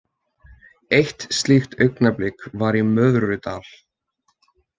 Eitt slíkt augnablik var í Möðrudal.